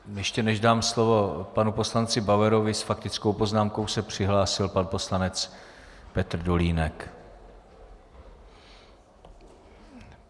Ještě než dám slovo panu poslanci Bauerovi, s faktickou poznámkou se přihlásil pan poslanec Petr Dolínek.